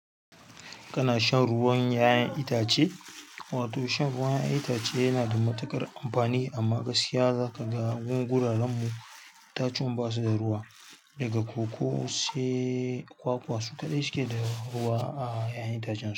Kana shan ruwan 'ya'yan itace? Wato shan ruwan 'ya'yan itace yana da matuƙar amfani amma gaskiya za ka ga wuraren mu itatuwan basu da ruwa daga koko sai kwakwa su kaɗai suke da ruwa a 'ya'yan itacen su.